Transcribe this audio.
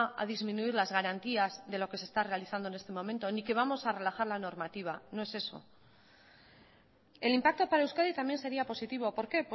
a disminuir las garantías de lo que se está realizando en este momento ni que vamos a rebajar la normativa no es eso el impacto para euskadi también sería positivo por qué